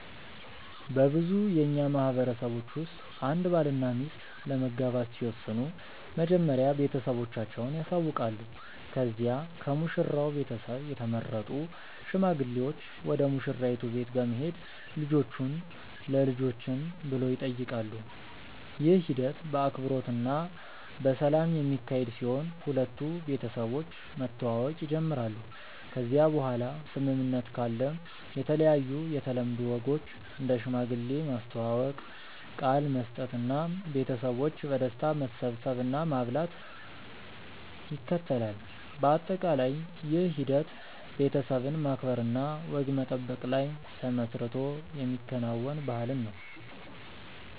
በብዙ የእኛ ማህበረሰቦች ውስጥ አንድ ባልና ሚስት ለመጋባት ሲወስኑ መጀመሪያ ቤተሰቦቻቸውን ያሳውቃሉ ከዚያ ከሙሽራው ቤተሰብ የተመረጡ ሽማግሌዎች ወደ ሙሽራይቱ ቤት በመሄድ ልጆቹን ለልጆችን ብሎ ይጠይቃሉ። ይህ ሂደት በአክብሮት እና በሰላም የሚካሄድ ሲሆን ሁለቱ ቤተሰቦች መተዋወቅ ይጀምራሉ ከዚያ በኋላ ስምምነት ካለ የተለያዩ የተለምዶ ወጎች እንደ ሽማግሌ ማስተዋወቅ፣ ቃል መስጠት እና ቤተሰቦች በደስታ መሰብሰብ እና ማብላት ይከተላል። በአጠቃላይ ይህ ሂደት ቤተሰብን ማክበር እና ወግ መጠበቅ ላይ ተመስርቶ የሚከናወን ባህልን ነው።